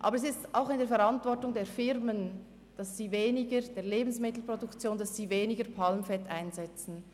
Aber es liegt auch in der Verantwortung der Firmen, dass sie weniger Palmfett einsetzen.